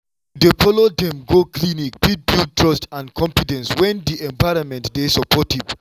to dey follow dem go clinic fit build trust and confidence when di environment dey supportive.